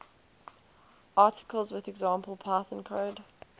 articles with example python code